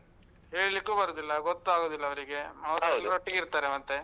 ಹೇಳಿಕ್ಕು ಬರುದಿಲ್ಲ, ಗೊತ್ತಾಗುದಿಲ್ಲ. ಅವ್ರಿಗೆ ಎಲ್ಲರೊಟ್ಟಿಗಿರ್ತಾರೆ ಮತ್ತೆ.